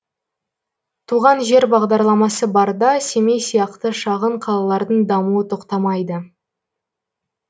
туған жер бағдарламасы барда семей сияқты шағын қалалардың дамуы тоқтамайды